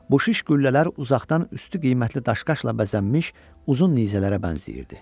Bu şiş qüllələr uzaqdan üstü qiymətli daşqaşla bəzənmiş uzun nizələrə bənzəyirdi.